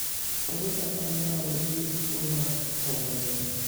Ere kaka inyalo thiedh tuwo mar Tourette?